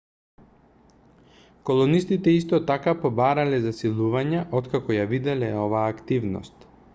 колонистите исто така побарале засилувања откако ја виделе оваа активност